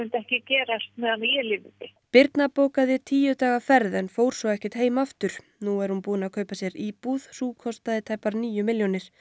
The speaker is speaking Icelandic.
ekki gerast á meðan ég lifði birna bókaði tíu daga ferð en fór svo ekkert heim aftur nú er hún búin að kaupa sér íbúð sú kostaði tæpar níu milljónir